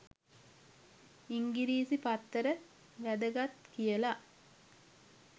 ඉංගිරිසි පත්තර වැදගත් කියලා.